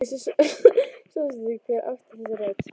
Ég vissi samstundis hver átti þessa rödd.